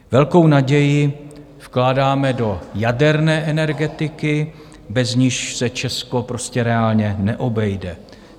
Velkou naději vkládáme do jaderné energetiky, bez níž se Česko prostě reálně neobejde.